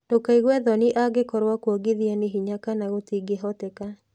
Ndũkaigue thoni angĩkorũo kũongithia nĩ hinya kana gũtingĩhoteka.